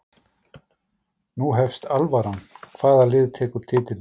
Nú hefst alvaran, hvaða lið tekur titilinn?